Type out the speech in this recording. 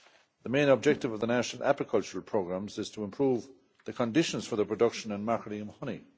The main objective of the national apicultural programmes is to improve the conditions for the production and marketing of honey.